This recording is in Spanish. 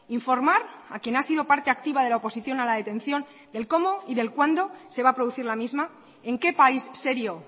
informar a quien ha sido parte activa de la oposición a la detención del cómo y del cuándo se va a producir la misma en qué país serio